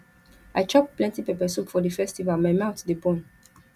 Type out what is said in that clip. i chop plenty pepper soup for di festival my mouth dey burn